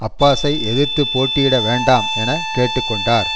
அப்பாஸை எதிர்த்து போட்டியிட வேண்டாம் என கேட்டு கொண்டார்